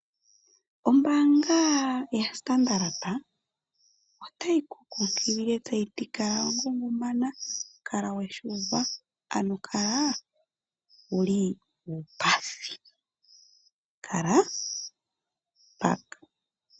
Ombaanga yaStandard otayi ku kunkilile kutya kala wa ngungumana, kala we shi uva, ano kala wu li uupathi. Kala mpaka!